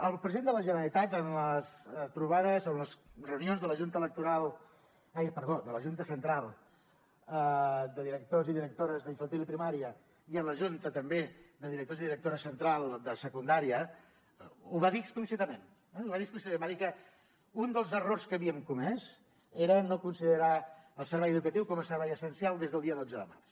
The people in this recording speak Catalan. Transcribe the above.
el president de la generalitat en les trobades o en les reunions de la junta central de directors i directores d’infantil i primària i en la junta també de directors i directores central de secundària ho va dir explícitament va dir que un dels errors que havíem comès era no considerar el servei educatiu com a servei essencial des del dia dotze de març